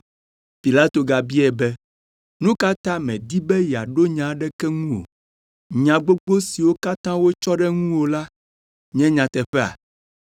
Pilato gabiae be, “Nu ka ta mèdi be yeaɖo nya aɖeke ŋu o? Nya gbogbo siwo katã wotsɔ ɖe ŋuwò la nye nyateƒea?”